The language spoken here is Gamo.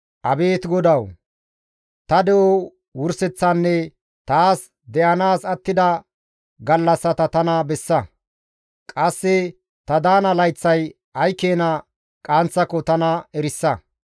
«Abeet GODAWU! Ta de7o wurseththanne taas de7anaas attida gallassata tana bessa. Qasse ta daana layththay ay keena qaanththako tana erisa.